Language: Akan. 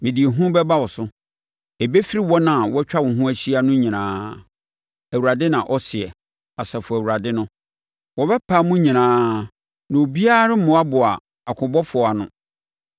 Mede ehu bɛba wo so; ɛbɛfiri wɔn a wɔatwa wo ho ahyia no nyinaa,” Awurade na ɔseɛ, Asafo Awurade no. “Wɔbɛpam mo nyinaa, na obiara remmoaboa akobɔfoɔ ano.